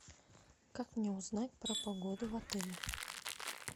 как мне узнать про погоду в отеле